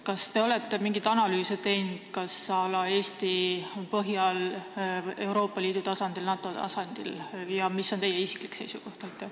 Kas te olete mingit analüüsi teinud – à la Eestis, Euroopa Liidu tasandil, NATO tasandil – ja mis on teie isiklik seisukoht?